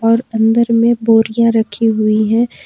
और अंदर में बोरियां रखी हुई है।